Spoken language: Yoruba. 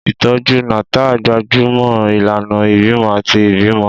Ìtọ́jú Natal gbájú mọ́ ìlànà ìbímọ àti ìbímọ.